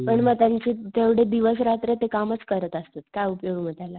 पण म त्यांची ते दिवस रात्र ते कामच करत असतात काय उपयोग मग त्याला